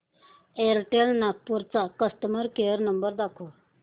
Airtel Nagpur चा customer care number दाखव